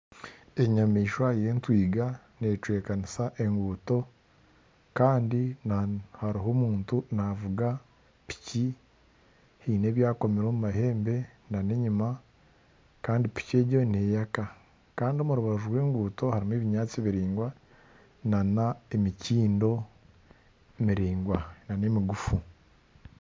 Enyamaishwa y'entwinga necwekanisa enguuto kandi hariho omuntu navuga piiki haine ebyakomire omu mahembe n'enyuma kandi piiki egyo neyaka kandi omu rubaju rw'enguuto harimu ebinyaatsi biraingwa n'emikindo miraingwa n'emigufu.